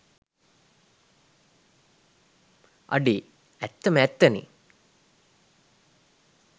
අඩෙ ඇත්තම ඇත්තනෙ